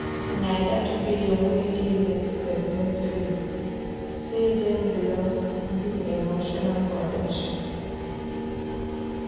Na dat feeling wey dey make pesin feel sey dem belong be emotional connection.